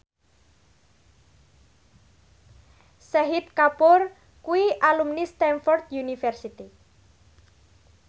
Shahid Kapoor kuwi alumni Stamford University